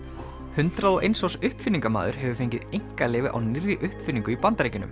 hundrað og eins árs uppfinningamaður hefur fengið einkaleyfi á nýrri uppfinningu í Bandaríkjunum